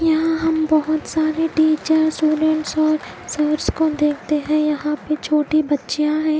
यहा हम बहोत सारे टीचर स्टूडेंट्स और सर्स को देखते है यहा पर छोटी बच्चिया है।